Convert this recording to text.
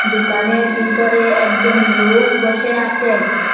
দুকানের বিতরে একজন লুক বসে আসে।